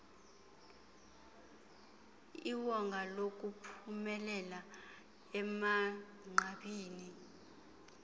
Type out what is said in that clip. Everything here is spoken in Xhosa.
iwonga lokuphumelela emagqabini